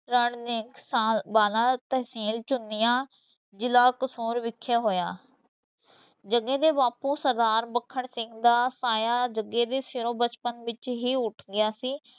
ਰਣ ਵਾਲਾ ਤਹਿਸੀਲ ਚੂੰਨੀਆਂ, ਜਿਲ੍ਹਾ ਕਸੂਰ ਵਿਖੇ ਹੋਇਆ ਜੱਗੇ ਦੇ ਬਾਪੂ ਸਰਦਾਰ ਮੱਖਣ ਸਿੰਘ ਦਾ ਸਾਇਆ ਜੱਗੇ ਦੇ ਸਿਰੋਂ ਬਚਪਨ ਵਿਚ ਹੀ ਉੱਠ ਗਿਆ ਸੀ।